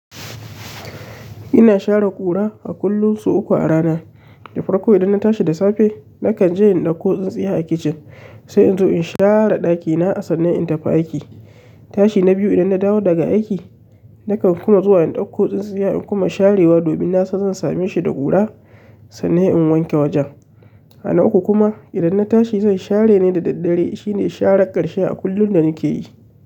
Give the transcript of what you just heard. Ina share ƙura a kullum sau uku a rana da farko idan na tashi da safe nakan je in ɗauko tsintsiya a kicin sai in zo in share ɗakina sannan in tafi aiki. Tashi na biyu idan na dawo daga aiki nakan kuma zuwa in ɗauko tsintsiya in kuma sharewa domin na san zan same shi da ƙura sannan in wanke wajen. Ana uku kuma idan na tashi zan share ne da daddare, shine sharar ƙarshe da mukeyi.